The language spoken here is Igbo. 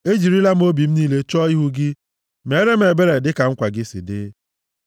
Ejirila m obi m niile chọọ ihu gị; meere m ebere dịka nkwa gị si dị.